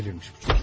Dəlirmiş bu.